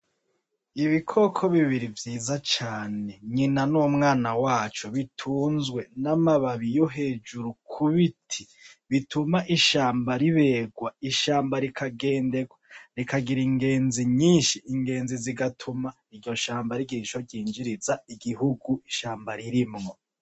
Ibikoko bibiri vyiza cane , nyina n’umwana waco bitunzwe n’amababi yo hejuru ku biti , bituma ishamba riberwa , ishamba rikagira ingezi nyinshi , ingenzi zigatuma iryo shamba rigira ico ryinjiriza igihugu ishamba ririmwo.